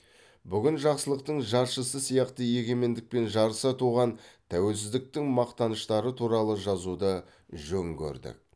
бүгін жақсылықтың жаршысы сияқты егемендікпен жарыса туған тәуелсіздіктің мақтаныштары туралы жазуды жөн көрдік